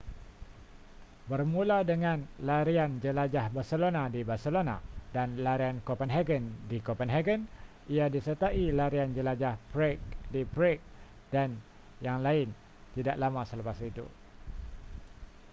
bermula dengan larian jelajah barcelona di barcelona dan larian copenhagen di copenhagen ia disertai larian jelajah prague di prague dan yang lain tidak lama selepas itu